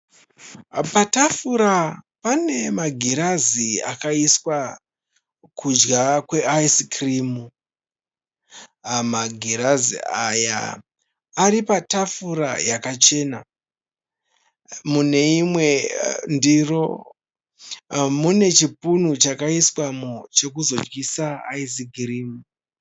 Patafura pane magirazi akaiswa kudya kweIce Cream. Magirazi aya aripatafura yakachena. Muneimwe ndiro munechipunu chakaiswamo chekuzodyisa Ice Cream.